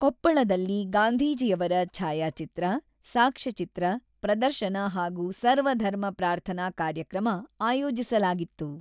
ಕೊಪ್ಪಳದಲ್ಲಿ ಗಾಂಧೀಜಿಯವರ ಛಾಯಾಚಿತ್ರ, ಸಾಕ್ಷ್ಯಚಿತ್ರ ಪ್ರದರ್ಶನ ಹಾಗೂ ಸರ್ವಧರ್ಮ ಪ್ರಾರ್ಥನಾ ಕಾರ್ಯಕ್ರಮ ಆಯೋಜಿಸಲಾಗಿತ್ತು.